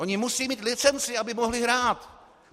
Oni musí mít licenci, aby mohli hrát.